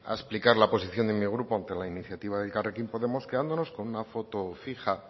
explicar la posición de mi grupo ante la iniciativa de elkarrekin podemos quedándonos con una foto fija